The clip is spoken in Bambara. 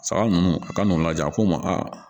Saga ninnu ka n'u lajɛ a ko n ma a